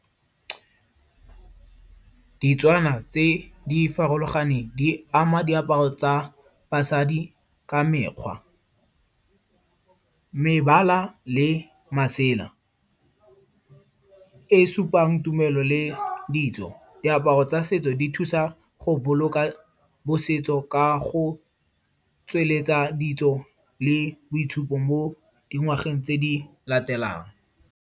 Ditswana tse di farologaneng di ama diaparo tsa basadi ka mekgwa, mebala le masela. E supang tumelo le ditso. Diaparo tsa setso di thusa go boloka bosetso ka go tsweletsa ditso le boitshupo mo dingwageng tse di latelang.